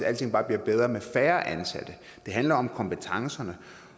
alting bare bliver bedre med færre ansatte det handler om kompetencerne